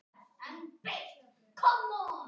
Fékk ekkert svar.